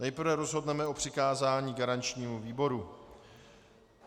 Nejprve rozhodneme o přikázání garančnímu výboru.